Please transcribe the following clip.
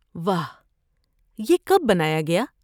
واہ، یہ کب بنایا گیا؟